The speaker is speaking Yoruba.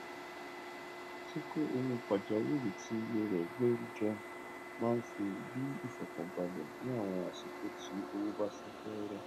kíkó owo pàjáwìrì tí iye rẹ gbérí jọ máa n bí ìfọkànbalẹ ní àwọn àsìkò tí owó bá sá fẹẹrẹ